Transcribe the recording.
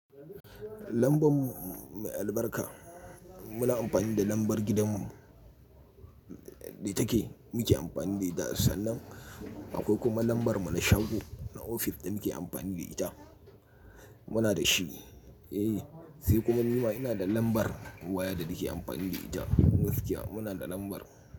Lamban mu mai albarka muna amfani da lambar gidanmu da take muke amfani da ita, sannan akwai kuma lambar muna shago na ofis da muke amfani da ita. Muna da shi, eh, sai kuma ni ma ina da lambar waya da nake amfani da ita gaskiya muna da lambar.